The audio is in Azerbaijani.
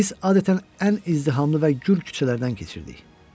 Biz adətən ən izdihamlı və gül küçələrdən keçirdik.